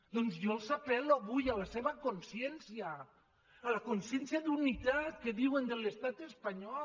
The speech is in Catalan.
doncs jo apel·lo avui a la seva consciència a la consciència d’unitat que diuen de l’estat espanyol